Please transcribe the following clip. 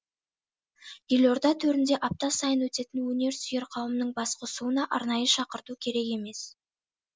елорда төрінде апта сайын өтетін өнерсүйер қауымның басқосуына арнайы шақырту керек емес